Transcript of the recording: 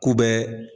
K'u bɛ